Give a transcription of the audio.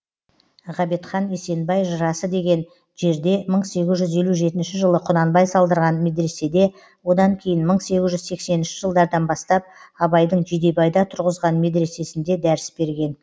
ғабитхан есенбай жырасы деген жерде мың сегіз жүз елу жетінші жылы құнанбай салдырған медреседе одан кейін мың сегіз жүз сексенінші жылдардан бастап абайдың жидебайда тұрғызған медресесінде дәріс берген